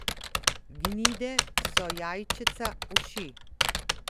Gnide so jajčeca uši.